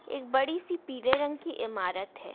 एक बड़ी सी पीले रंग की इमारत है।